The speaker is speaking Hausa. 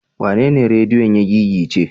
Wanene rediyon ya gigice?